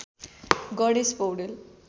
Ganesh Paudel